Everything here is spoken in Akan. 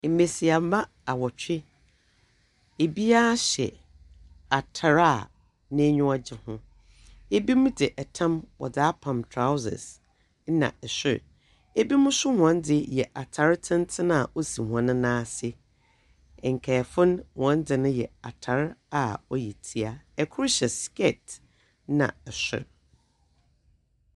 Mmesiamma awɔtwi, obiaa hyɛ atar a neniwa gye ho. Ebinom de ɛtam, wɔde apam trausɛs nna ɛsor. Ebimu nso wɔde yɛ atar tenten a osi wɔne nan ase. Nkaefo, wɔnde yɛ atar a ɔyɛ tia. Ɛkor hyɛ skɛt ɛna sor.